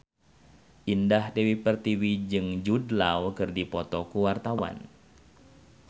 Indah Dewi Pertiwi jeung Jude Law keur dipoto ku wartawan